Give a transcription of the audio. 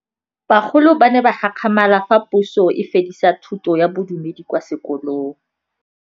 Bagolo ba ne ba gakgamala fa Pusô e fedisa thutô ya Bodumedi kwa dikolong.